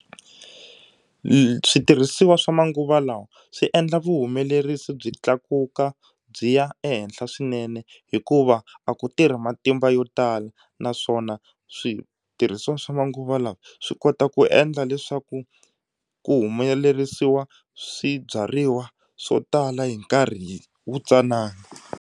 switirhisiwa swa manguva lawa swi endla vuhumelerisi byi tlakuka byi ya ehenhla swinene hikuva a ku tirhi matimba yo tala naswona switirhisiwa swa manguva lawa swi kota ku endla leswaku ku humelerisiwa swibyariwa swo tala hi nkarhi wu tsanana.